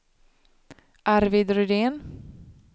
Arvid Rydén